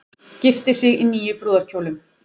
Gifti sig í níu brúðarkjólum